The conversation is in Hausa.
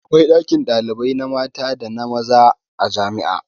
Akwai ɗakin ɗalibai na mata da maza a jami'a.